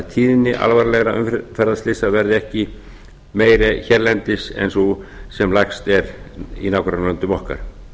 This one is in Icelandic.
tíðni alvarlegra umferðarslysa verði ekki meiri hérlendis en sú sem lægst er í nágrannalöndum okkar